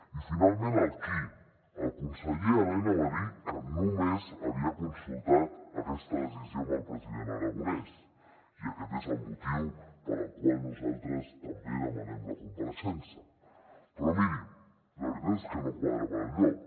i finalment el qui el conseller elena va dir que només havia consultat aquesta decisió amb el president aragonès i aquest és el motiu pel qual nosaltres també en demanem la compareixença però mirin la veritat és que no quadra per enlloc